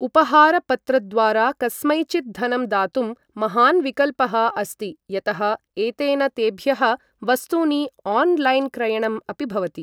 उपहारपत्रद्वारा कस्मैचित् धनं दातुं महान् विकल्पः अस्ति यतः एतेन तेभ्यः वस्तूनि ऑनलाइन क्रयणं अपि भवति।